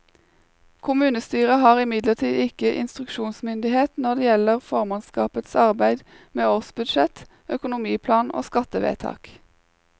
Kommunestyret har imidlertid ikke instruksjonsmyndighet når det gjelder formannskapets arbeid med årsbudsjett, økonomiplan og skattevedtak.